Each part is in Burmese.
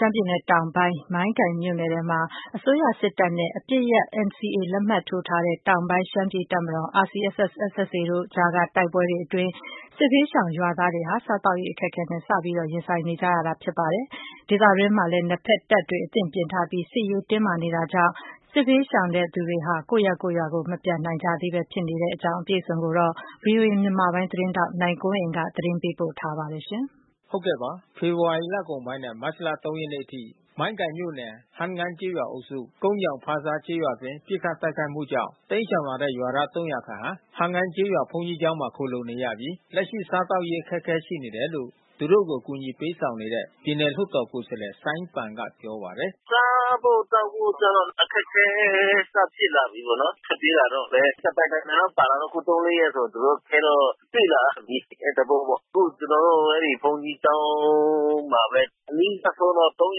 ရှမ်းပြည်နယ်တောင်ပိုင်း မိုင်းကန်မြို့နယ်အတွင်းမှာ မြန်မာစစ်တပ်နဲ့ အပစ်ရပ် NCA လက်မှတ်ထိုး တောင်ပိုင်း ရှမ်းပြည် တပ်မတော် RCSS/SSA တို့ အကြား ဖြစ်ပွားခဲ့တဲ့တိုက်ပွဲအတွင်း တိမ်းရှောင်လာတဲ့စစ်ရှောင်ရွာသားတွေဟာ လက်ရှိစား သောက်ရေးအခက်ခဲနဲ့ စတင်ရင်ဆိုင်နေရပြီ ဖြစ်ပါတယ်။ ဒေသအတွင်းမှာလဲ နှစ်ဘက်တပ်တွေ အသင့်ပြင်ထားပြီး စစ်ရေးတင်းမာနေဆဲ ဖြစ်တာကြောင့် စစ်ရှောင်တွေ ကိုယ့်ရပ်ရွာ မပြန်နိုင်ကြ သေးပါဘူး။ အပြည့်အစုံကို ဗွီအိုအေမြန်မာပိုင်း သတင်းထောက် နိုင်ကွန်းအိန်ကနေ သတင်းပေး ပို့ထားပါတယ်။ ဖေဖေါ်ဝါရီလကုန်ပိုင်းနဲ့ မတ်လ ၃ ရက်နေ့အထိ မိုင်းကန်မြို့နယ် ဟမ်းငိုင်းကျေးရွာအုပ်စု ကုန်းညောင် ဖာဆားကျေးရွာအတွင်း ပစ်ခတ်တိုက်ခိုက်မှုကြောင့် တိမ်းရှောင်လာတဲ့ရွာသား ၃၀၀ ခန့်ဟာ ဟမ်းငိုင်းကျေးရွာဘုန်းကြီး ကျောင်းမှာ ခိုလှုံနေရပြီး လက်ရှိစားသောက်ရေးအခက်ခဲ ရှိနေတယ်လို့ သူတို့ကို အကူညီပေးဆောင်နေတဲ့ ပြည်နယ်လွှတ်တော် ကိုယ်စားလှယ် စိုင်းပန်က ပြောပါတယ်။ “စားဖို့သောက်ဖို့ကျတော့ အခက်ခဲစ ဖြစ်လာပြီးပေါ့နော်။ ထွက်ပြေးလာတော့လည်း တပိုင်တနိုင်လောက် ပါလာတော့ အခု ၃၊ ၄ ရက်ဆိုသူတို့ အခက်ခဲတော့တွေ့လာပြီး အဲ သဘောပေါ့။ အခု ကျနော်တို့ဘုန်းကြီးကျောင်းမှာပဲ။ အနီးစပ် ဆုံးတော့ ၃၀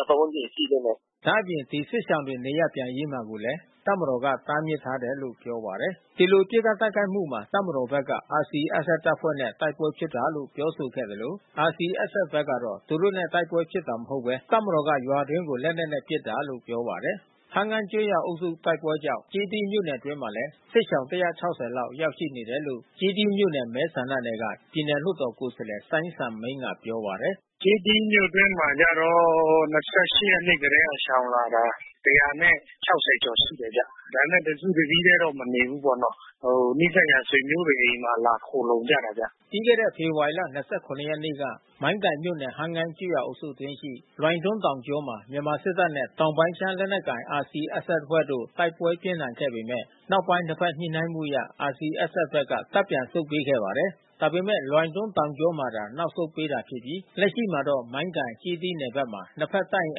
၀ ပါတ်ဝန်းကျင်ရှိသေးတယ်။” ဒါ့အပြင် ဒီစစ်ရှောင်တွေ နေရပ်ပြန်မှာကိုလည်း တပ်မတော်က တားမြစ်ထားတယ်လို့ ပြောပါတယ်။ ဒီပစ်ခတ်တိုက်ခိုက်မှုမှာ တပ်မတော်ဘက်က RCSS တပ်ဖွဲ့တွေနဲ့တိုက်ပွဲဖြစ်တာလို့ ပြောဆိုခဲ့သလို RCSS ဘက်ကတော့ သူတို့နဲ့တိုက်ပွဲဖြစ်တာ မဟုတ်ဘဲ တပ်မတော်က ရွာအတွင်းကို လက်နက်နဲ့ ပစ်တာလို့ ပြောပါတယ်။ ဟမ်းငိုင်းကျေးရွာအုပ်စု တိုက်ပွဲကြောင့် ကျေးသီးမြို့နယ်အတွင်းမှာလည်း စစ်ရှောင် ၁၆၀ လောက် ရောက်ရှိနေတယ်လို့ ကျေးသီးမြို့နယ်မဲဆန္ဒနယ် က ပြည်နယ်လွှတ်တော် ကိုယ်စားလှယ်စိုင်းစံမိန်းက ပြောပါတယ်။ “ကျေးသီးမြို့အတွင်းမှာကျတော့၂၈ ရက်နေ့ကတည်းက ရှောင်လာတာ။၁၆၀ ကျော်ရှိတယ်ဗျ။ ဒါပေမဲ့ တစုတစည်းထဲတော့ မနေဘူးပေါ့နော်။ နီးစပ်ရာဆွေမျိုးတွေ အိမ်မှာလာခိုလှုံကြတာဗျ။” ပြီးခဲ့တဲ့ ဖေဖေါ်ဝါရီလ ၂၇ ရက်နေ့ကနေ့က မိုင်းကန်မြို့နယ် ဟမ်းငိုင်းကျေးရွာ အုပ်စုအတွင်းရှိ လွိုင်တွမ်း တောင်ကြောမှာ မြန်မာစစ်တပ်နဲ့ တောင်ပိုင်းရှမ်းလက်နက်ကိုင် RCSS အဖွဲ့တို့ တိုက်ပွဲပြင်းထန်ခဲ့ပေမယ့် နောက်ပိုင်း ၂ ဘက် ညှိနှိုင်းမှု အရ RCSS ဘက်က တပ်ပြန်ဆုတ်ပေး ခဲ့ပါတယ်။ ဒါပေမဲ့ လွိုင်တွမ်း တောင်ကြောမှာသာ နောက်ဆုတ်ပေးတာဖြစ်ပြီး လက်ရှိမှာတော့ မိုင်းကန်ကျေးသီး နယ်ဘက်မှာ ၂ ဘက် တပ်အင်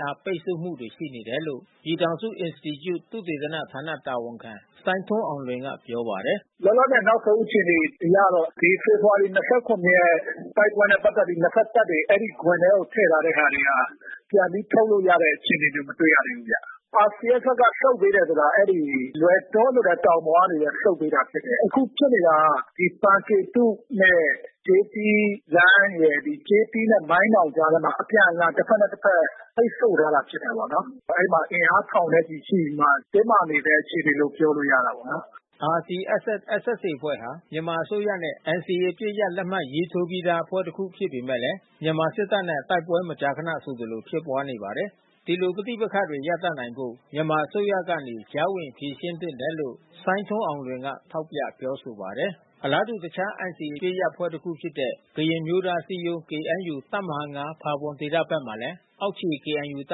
အား ပိတ်ဆို့မှုတွေ ရှိနေတယ်လို့ ပြည်ထောင်စုအင်စတီကျု သုတေသနဌာနတာဝန်ခံ စိုင်းထွန်းအောင်လွင်က ပြောပါတယ်။ “လောလောဆယ် နောက်ဆုံးအခြေအနေအရတော့ ဒီဖေဖေါ်ဝါရီ ၂၇ ရက် တိုက်ပွဲနဲ့ ပတ်သက်ပြီး နှစ်ဘက်တပ်တွေ အဲဒီ ဂွင်ထဲကို ထည့် ထားတဲ့ဟာတွေဟာ ပြန်ပြီးထုတ်လို့ရတဲ့ အခြေအနေမျိုး မတွေ့ရသေးဘူးဗျ။ RCSS ဘက်ကဆုတ်ပေးတယ်ဆိုတာ အဲဒီ လွိုင်တွမ်းဆိုတဲ့ တောင်ပေါ်က ဆုတ်ပေးတာဖြစ်တယ်။ အခုဖြစ်နေတာ ပန်ကေတုနဲ့ ကျေးသီးလမ်းရယ်။ ကျေးသီးနဲ့မိုင်းနောင်ကြားထဲမှာ အပြန်အလှန်တဘက်နဲ့ တဘက် ပိတ်ဆို့ထားတာ ဖြစ်တာပေါ့နော်။ အဲဒီမှာအင်အားထောင်နဲ့ ချီရှိပြီးမှ တင်းမာနေဆဲ အခြေအနေလို့ ပြောလို့ရတာပေါ့နော်။” RCSS/SSA အဖွဲ့ဟာ မြန်မာအစိုးရနဲ့ NCA အပစ်ရပ် လက်မှတ်ရေးထိုးပြီးသားအဖွဲ့ တခုဖြစ်ပေမဲ့လဲ မြန်မာစစ်တပ်နဲ့ တိုက်ပွဲမကြာခဏ ဆိုသလို ဖြစ်ပွားနေပါတယ်။ ဒီလိုပဋိပက္ခတွေရပ်တန့်နိုင်ဖို့ မြန်မာအစိုးရကနေ ကြားဝင်ဖြေရှင်း သင့်တယ်လို့ စိုင်းထွန်းအောင်လွင်က ထောက်ပြပြောဆိုပါတယ်။ အလားတူ တခြားNCAအပစ်ရပ်အဖွဲ့တခုဖြစ်တဲ့ ကရင်အမျိုးသားအစည်းအရုံး KNU တပ်မဟာ ၅ဖါးပွန်ခရိုင်ဒေသဘက်မှာလည်း အောက်ခြေ KNU တ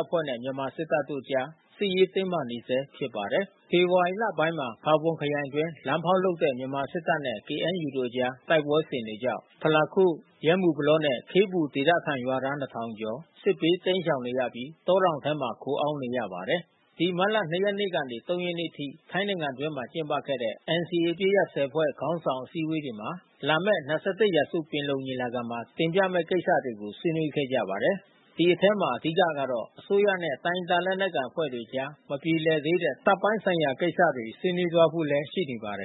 ပ်ဖွဲ့နဲ့ မြန်မာစစ်တပ်တို့အကြား စစ်ရေးတင်းမာနေဆဲ ဖြစ်ပါတယ်။ ဖေဖေါ်ဝါရီလပိုင်းမှာ ဖါးပွန်ခရိုင်အတွင်း လမ်းဖေါက်လုပ်တဲ့မြန်မာစစ်တပ်နဲ့ KNU တို့အကြား တိုက်ပွဲစဉ်တွေကြောင့် ဖလခို့၊ ယဲမုပလောနဲ့ ခေးပူ ဒေသခံရွာသား ၂၀၀၀ ကျော် စစ်ဘေးတိမ်းရှောင်နေရပြီး တောတောင်ထဲမှာ ခိုအောင်း နေရပါတယ်။ ဒီမတ်လ ၂ ရက်နေ့ကနေ ၃ ရက်နေ့အထိ ထိုင်းနိုင်ငံအတွင်းမှာကျင်းပခဲ့တဲ့ NCA အပစ်ရပ် ၁၀ ဖွဲ့ခေါင်းဆောင် အစည်းအဝေးမှာ လာမယ့် ၂၁ ရာစုပင်လုံညီလာခံမှာ တင်ပြမယ့် ကိစ္စတွေကို ဆွေးနွေးခဲ့ကြပါတယ်။ ဒီအထဲမှာ အဓိကကတော့ အစိုးရနဲ့ တိုင်းရင်းသား လက်နက်ကိုင်အဖွဲ့တွေကြား မပြေလည်သေးတဲ့ တပ်ပိုင်းဆိုင်ရာကိစ္စတွေ ဆွေးနွေးသွားဖို့ ရှိနေပါတယ်